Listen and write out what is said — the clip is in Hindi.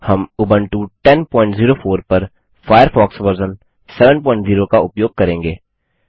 इस ट्यूटोरियल में हम उबंटु 1004 पर फायरफॉक्स वर्जन 70 का उपयोग करेंगे